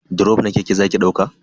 Drof na keke zaki dauka?